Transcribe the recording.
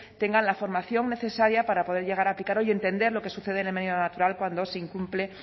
tengan la formación necesaria para poder llegar a aplicarlo y entender lo que sucede en el medio natural cuando se incumple